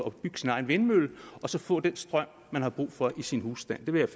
at bygge sin egen vindmøller og så få den strøm man har brug for i sin husstand det vil